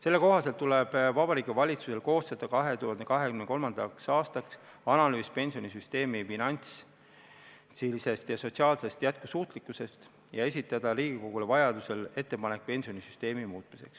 Selle kohaselt tuleb Vabariigi Valitsusel koostada 2023. aastaks analüüs pensionisüsteemi finantsilisest ja sotsiaalsest jätkusuutlikkusest ja esitada Riigikogule vajadusel ettepanek pensionisüsteemi muuta.